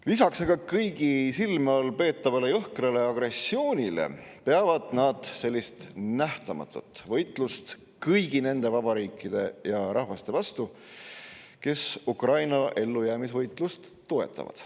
Lisaks aga kõigi silme all peetavale jõhkrale agressioonile peavad nad nähtamatut võitlust kõigi nende vabade riikide ja rahvaste vastu, kes Ukraina ellujäämisvõitlust toetavad.